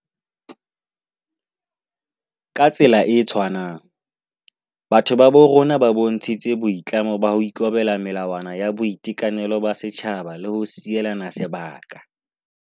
Ka tsela e tshwanang, batho ba bo rona ba bontshitse boi tlamo ba ho ikobela melawa na ya boitekanelo ba setjhaba le ho sielana sebaka.